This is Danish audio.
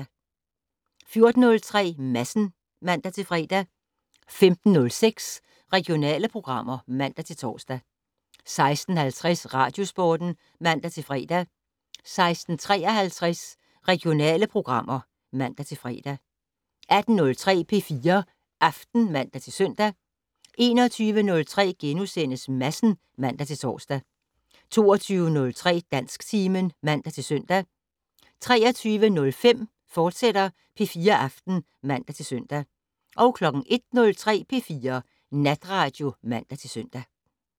14:03: Madsen (man-fre) 15:06: Regionale programmer (man-tor) 16:50: Radiosporten (man-fre) 16:53: Regionale programmer (man-fre) 18:03: P4 Aften (man-søn) 21:03: Madsen *(man-tor) 22:03: Dansktimen (man-søn) 23:05: P4 Aften, fortsat (man-søn) 01:03: P4 Natradio (man-søn)